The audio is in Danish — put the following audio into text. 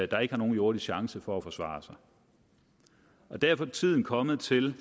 der ikke har nogen jordisk chance for at forsvare sig derfor er tiden kommet til